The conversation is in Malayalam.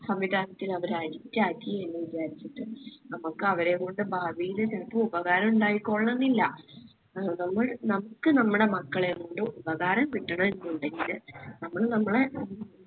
സംവിധാനത്തിൽ അവർ addict ആക്കി എന്ന് വിചാരിച്ചിട്ട് നമ്മുക്ക് അവരേം കൊണ്ട് ഭാവിയില് ചെലപ്പോ ഉപകാരുണ്ടായി ക്കോളണെന്നില്ല നമ്മൾ നമ്മുക്ക് നമ്മളെ മക്കളെക്കൊണ്ട് ഉപകാരം കിട്ടണം എന്നുണ്ടെങ്കില് നമ്മള് നമ്മളെ